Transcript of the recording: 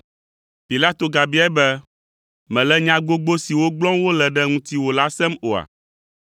Pilato gabiae be, “Mèle nya gbogbo siwo gblɔm wole ɖe ŋutiwò la sem oa?”